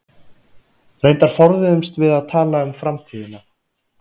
Reyndar forðuðumst við að tala um framtíðina.